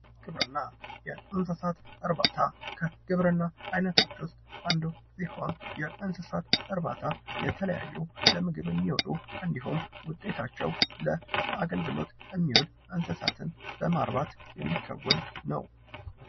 ግብርና የእንስሳት እርባታ ግብርና አይነቶች ውስጥ አንዱ ሲሆን የእንስሳት እርባታ የተለያዩ ለምግብ የሚውሉ እንዲሁም ውጤታቸው ለአገልግሎት የሚውል እንስሳት በማርባት የሚከወን ነው።